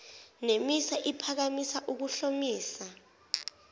nemisa iphakamisa ukuhlomisa